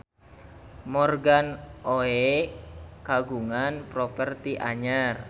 Morgan Oey kagungan properti anyar